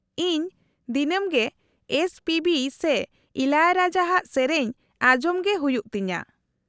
-ᱤᱧ ᱫᱤᱱᱟᱹᱢ ᱜᱮ ᱮᱥ ᱯᱤ ᱵᱤ ᱥᱮ ᱤᱞᱟᱭᱟᱨᱟᱡᱟ ᱟᱜ ᱥᱮᱹᱨᱮᱹᱧ ᱟᱸᱡᱚᱢ ᱜᱮ ᱦᱩᱭᱩᱜ ᱛᱤᱧᱟᱹ ᱾